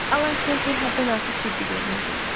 Alan Kempel həddən artıq ciddi görünürdü.